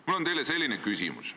Mul on teile selline küsimus.